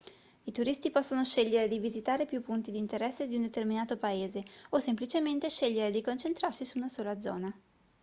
i turisti possono scegliere di visitare più punti di interesse di un determinato paese o semplicemente scegliere di concentrarsi su una sola zona